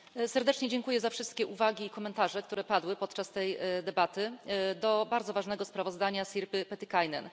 Serdecznie dziękuję za wszystkie uwagi i komentarze, które padły podczas tej debaty, do bardzo ważnego sprawozdania Sirpy Pietikäinen.